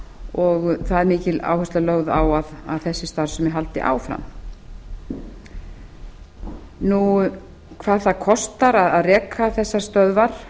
og það er mikil áhersla lögð á að þessi starfsemi haldi áfram hvað það kostar að reka þessar stöðvar